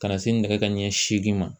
Ka na se nɛgɛ kanɲɛ seegin ma